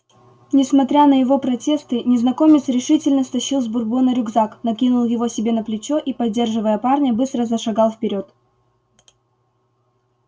несмотря на его протесты незнакомец решительно стащил с бурбона рюкзак накинул его себе на плечо и поддерживая парня быстро зашагал вперёд